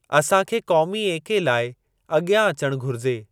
असां खे क़ौमी एके लाइ अगि॒यां अचण घुरिजे।